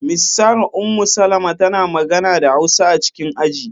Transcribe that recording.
Miss Sarah Ummu-Salama tana magana da Hausa a cikin aji.